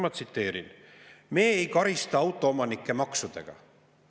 Ma tsiteerin: me ei karista autoomanikke maksudega.